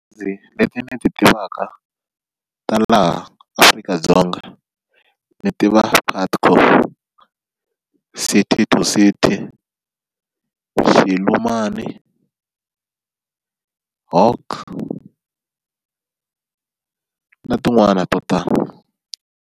Ndzi leti ni ti tivaka ta laha Afrika-Dzonga ni tiva Putco, City To City, Xilumani, Hock na tin'wani to tala.